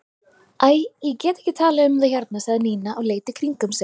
Æ, ég get ekki talað um það hérna sagði Nína og leit í kringum sig.